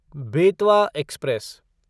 Betwa express